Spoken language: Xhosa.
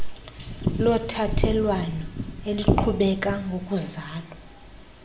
lothathelwano eliqhubeka ngokuzalwa